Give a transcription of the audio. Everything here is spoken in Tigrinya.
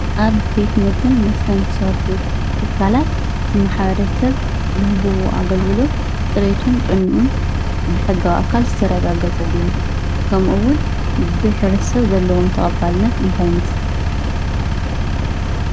ኣብ ቤት ምግብን መስተን ዝሰርሑ ትካላት ማሕበረሰብ ዝህብዎ ኣግልግሎት ፅሬቱን ጥዕንኡን ብሕጋዊ ኣካል ዝተረጋገፀ ድዩ? ከምኡ እውን ብሕብረተሰብ ዘለዎ ተቀባልነት እንታይ ይመስል?